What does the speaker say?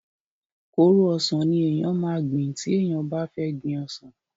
kóró ọsàn ni èèyàn máa gbìn tí èèyàn bá fẹ́ gbin ọsàn